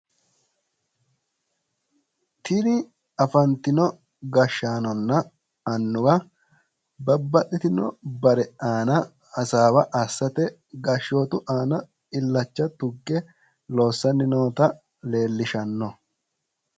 Tini afantino gashshaanonna annuwa babbaxxitino bare aana hasaawa assate gashshootu aana illacha tugge loossanni noota leellishanno.